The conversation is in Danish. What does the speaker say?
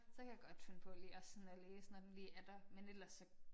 Så kan jeg godt finde på lige at sådan at læse når den lige er der men ellers så